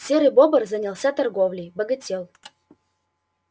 серый бобр занялся торговлей богател